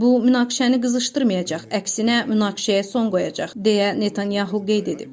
Bu münaqişəni qızışdırmayacaq, əksinə münaqişəyə son qoyacaq deyə Netanyahu qeyd edib.